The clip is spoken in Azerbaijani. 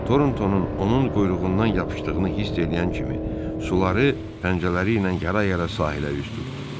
Tortonun onun quyruğundan yapışdığını hiss eləyən kimi suları pəncələri ilə yara-yara sahilə üz tutdu.